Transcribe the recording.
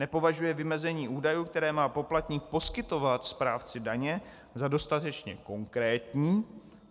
Nepovažuje vymezení údajů, které má poplatník poskytovat správci daně, za dostatečně konkrétní.